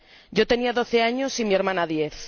Yo tenía doce años, y mi hermana, diez.